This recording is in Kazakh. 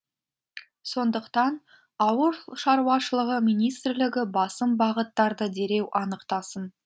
сондықтан ауыл шаруашылығы министрлігі басым бағыттарды дереу анықтасын